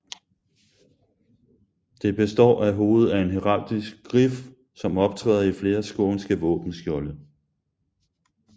Det består af hovedet af en heraldisk grif som optræder i flere skånske våbenskjolde